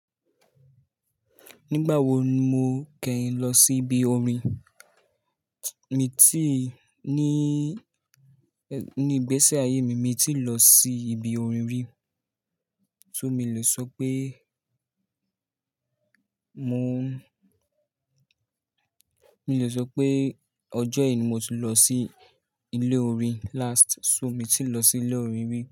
Nígbà wo ni mo kẹ́yin lọ sí ibi orin? Mi ti ní, ní ìgbésí ayé mi, mi ti lọ sí ibi orin rí. Tú mi lè sọ pé mo, mi lè sọ pé ọjọ́ yìí ni mo ti lọ sí ilé orin last. So mi ti lọ sí ilé orin rí.